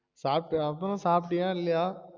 சாப்டியா அப்றோம் சாப்டியா இல்லையா?